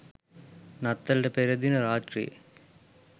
නත්තලට පෙර දින රාත්‍රියේ